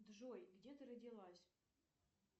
джой где ты родилась